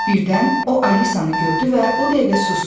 Birdən o Alisanı gördü və o dəqiqə susdu.